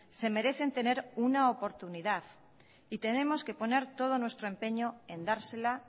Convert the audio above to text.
se merecen tener una oportunidad y tenemos que poner todo nuestro empeño en dársela